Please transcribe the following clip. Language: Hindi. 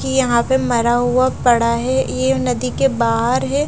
ये यहां पे मरा हुआ पड़ा है ये नदी के बाहर है।